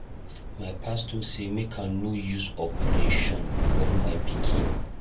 My pastor say make I no use operation born my pikin.